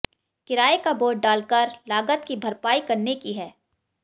किराए का बोझ डालकर लागत की भरपाई करने की है